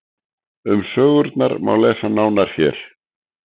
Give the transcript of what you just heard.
um sögurnar má lesa nánar hér